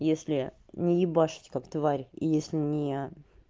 если не ебашить как тварь и если не